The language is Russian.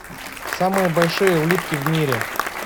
самые большие улитки в мире